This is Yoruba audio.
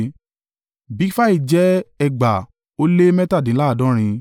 Bigfai jẹ́ ẹgbàá ó lé mẹ́tàdínláàádọ́rin (2,067)